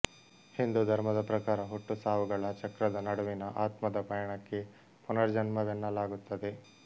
ಹಿಂದೂ ಧರ್ಮದ ಪ್ರಕಾರ ಹುಟ್ಟುಸಾವುಗಳ ಚಕ್ರದ ನಡುವಿನ ಆತ್ಮದ ಪಯಣಕ್ಕೆ ಪುನರ್ಜನ್ಮವೆನ್ನಲಾಗುತ್ತದೆ